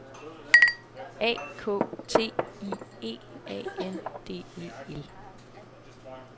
A K T I E A N D E L